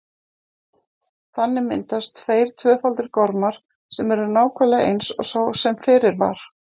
Þannig myndast tveir tvöfaldir gormar sem eru nákvæmlega eins og sá sem fyrir var.